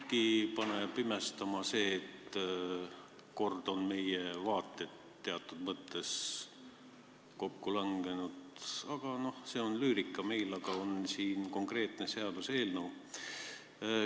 Mindki paneb imestama see, et kord on meie vaated teatud mõttes kokku langenud, aga see on lüürika – meil on siin konkreetne seaduseelnõu.